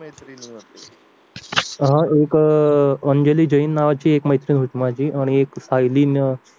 हा एक अंजली जैन नावाची मैत्रीण होती माझी आणि एक सायली